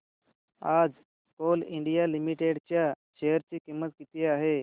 आज Coal India Limited च्या share ची किंमत किती आहे